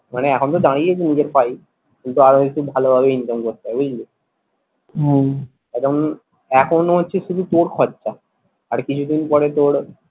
মানে এখন তো দাঁড়িয়েছি নিজের পায়েই কিন্তু আরো একটু ভালো ভাবে income করতে হবে বুঝলি হম কারণ এখনও হচ্ছে শুধু তোর খরচা আর কিছু দিন পরে তোর